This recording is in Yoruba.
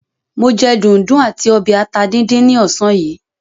Mo jẹ dùndún àti ọbẹ̀ ata díndín ní ọ̀sán yìí.